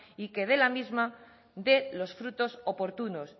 y que la misma dé los frutos oportunos